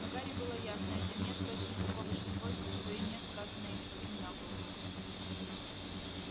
но гарри было ясно это нет точно того же свойства что и нет сказанное им самим дамблдору